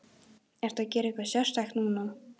Ertu að gera eitthvað sérstakt núna?